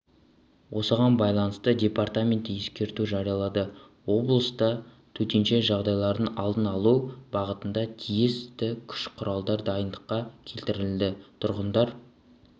осыған байланысты департаменті ескерту жариялады облыста төтенше жағдайлардың алдын алу бағытында тиісті күш-құралдар дайындыққа келтірілді тұрғындар